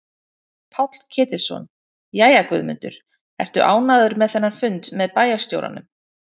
Páll Ketilsson: Jæja Guðmundur, ertu ánægður með þennan fund með bæjarstjóranum?